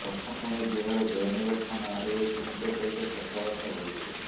ପ୍ରଥମେ ବିହାର ଜୟନଗର ଥାନା ଆଇଆଇସିଙ୍କ ସହିତ କଥାବାର୍ତ୍ତା ହୋଇଥିଲେ